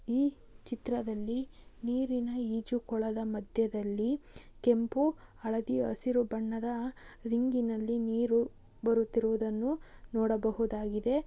ಈ ಚಿತ್ರದಲ್ಲಿ ನೀರಿನ ಈಜು ಕೊಳದ ಮಧ್ಯದಲ್ಲಿ ಕೆಂಪು ಹಳದಿ ಹಸಿರು ಬಣ್ಣದ ರಿಂಗಿ ನಲ್ಲಿ ನೀರು ಬರುತಿರುವುದನ್ನು ನೋಡಬಹುದಾಗಿದೆ.